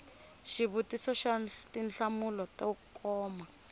xivutiso xa tinhlamulo to koma